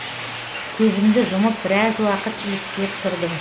көзімді жұмып біраз уақыт иіскеп тұрдым